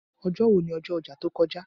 Ojo èwo ni ọjọ́ ọjà tó kọjá.